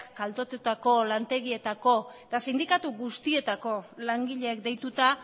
kaltetutako lantegietako eta sindikatu guztietako langileek deituta